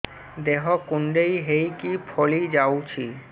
ଦେହ କୁଣ୍ଡେଇ ହେଇକି ଫଳି ଯାଉଛି